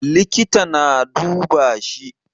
Likita na duba shi.